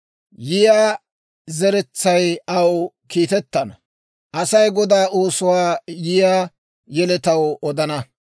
Yiyaa zeretsay aw kiitettana; asay Godaa oosuwaa yiyaa yeletaw odana.